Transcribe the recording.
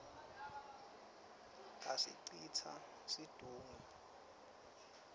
asicitsa situnge